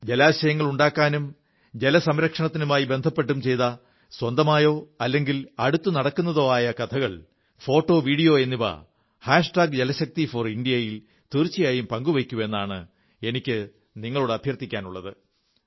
ജലാശയങ്ങളുണ്ടാക്കാനും ജലസംരക്ഷത്തിനുമായി ബന്ധപ്പെട്ടും ചെയ്ത സ്വന്തമായതോ അല്ലെങ്കിൽ അടുത്തു നടക്കുന്നതോ ആയ കഥകൾ ഫോട്ടോ വീഡിയോ ജലശക്തിഫോർ ഇന്ത്യ യിൽ തീർച്ചയായും പങ്കുവയ്ക്കൂ എന്നാണ് എനിക്കു നിങ്ങളോട് അഭ്യർഥിക്കാനുള്ളത്